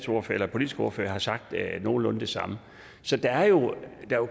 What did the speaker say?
politiske ordfører har sagt nogenlunde det samme så der er jo